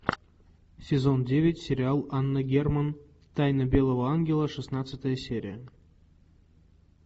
сезон девять сериал анна герман тайна белого ангела шестнадцатая серия